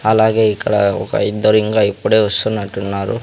అలాగే ఇక్కడ ఒక ఇద్దరు ఇంగా ఇప్పుడే వస్తున్నట్టున్నారు.